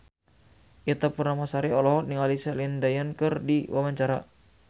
Ita Purnamasari olohok ningali Celine Dion keur diwawancara